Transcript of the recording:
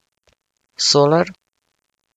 Soler?